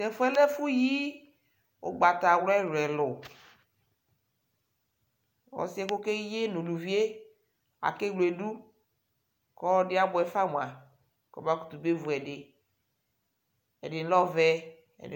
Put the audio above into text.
Tʋ ɛfʋ yɛ lɛ ɛfʋyi ʋgbatawla ɛlʋ-ɛlʋ Ɔsɩ yɛ ɔkeyi yɛ nʋ uluvi yɛ akewledu kʋ ɔlɔdɩ abʋɛ fa mʋa, kɔmakʋtʋ bewu ɛdɩ Ɛdɩ lɛ ɔvɛ, ɛdɩ